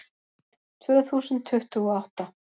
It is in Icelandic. Tvö þúsund tuttugu og átta